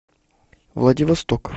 владивосток